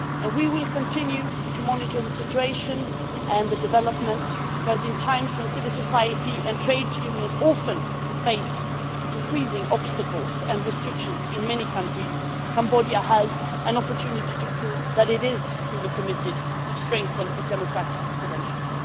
We will continue to monitor the situation and developments, because in times when civil society and trade unions often face increasing obstacles and restrictions in many countries, Cambodia has an opportunity to prove that it is truly committed to strengthening its democratic credentials.